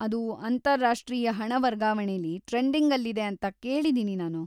ಅದು ಅಂತಾರಾಷ್ಟ್ರೀಯ ಹಣ ವರ್ಗಾವಣೆಲಿ ಟ್ರೆಂಡಿಂಗಲ್ಲಿದೆ ಅಂತ ಕೇಳಿದೀನಿ ನಾನು.